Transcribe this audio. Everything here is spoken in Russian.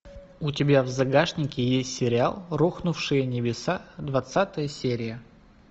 у тебя в загашнике есть сериал рухнувшие небеса двадцатая серия